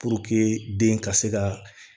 den ka se ka